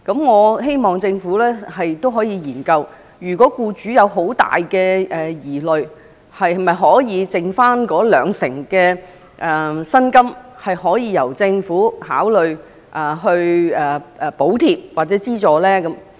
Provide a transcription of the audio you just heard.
我希望政府可以研究一下，如果僱主有很大的疑慮，則可否考慮剩餘的兩成薪金由政府補貼或資助。